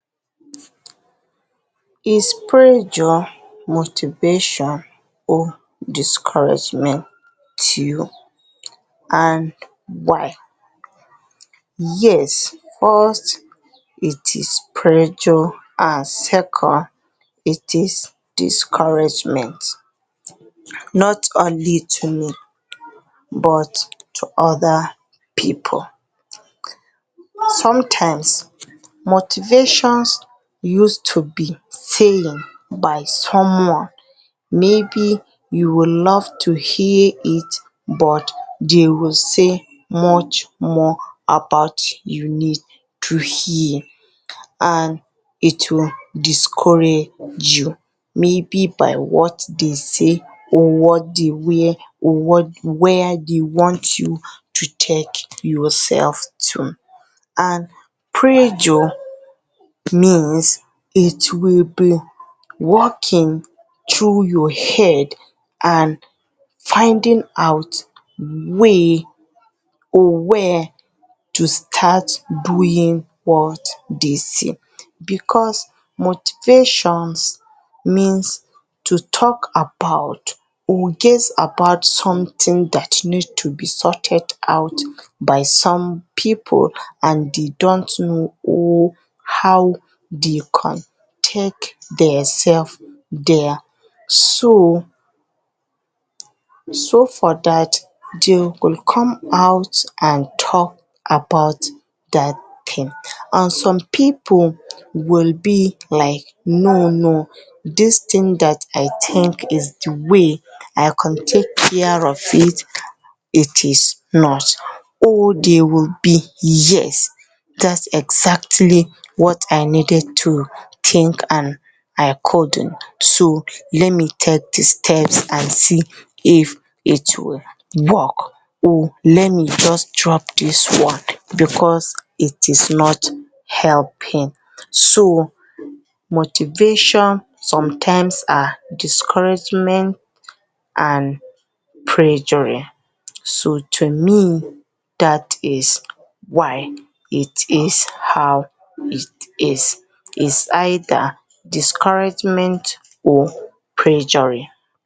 and why?